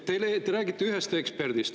Te räägite ühest eksperdist.